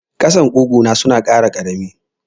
Ƙasan ƙugu na suna kara karami ne.